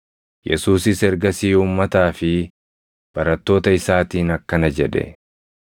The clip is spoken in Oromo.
Yesuusis ergasii uummataa fi barattoota isaatiin akkana jedhe: